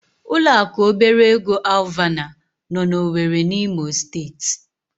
Ụlọaku obere ego Alvana nọ n'Owere n'Imo Steeti.